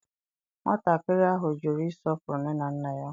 Nwatakịrị ahụ jụrụ ịsọpụrụ nne na nna ya.